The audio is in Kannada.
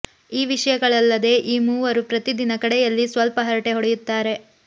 ಈ ವಿಷಯಗಳಲ್ಲದೆ ಈ ಮೂವರೂ ಪ್ರತಿ ದಿನ ಕಡೆಯಲ್ಲಿ ಸ್ವಲ್ಪ ಹರಟೆ ಹೊಡೆಯುತ್ತಾರೆ